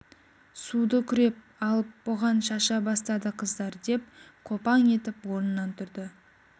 суды күреп алып бұған шаша бастады қыздар деп қопаң етіп орнынан тұрды